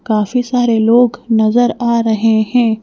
काफी सारे लोग नजर आ रहे हैं।